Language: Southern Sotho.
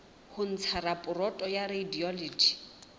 ho ntsha raporoto ya radiology